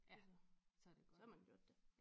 Ja så det godt